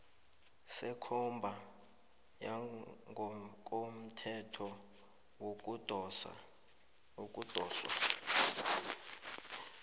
sekomba yangokomthetho yokudoswa